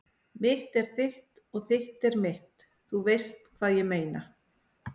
Mitt er þitt og þitt er mitt- þú veist hvað ég meina.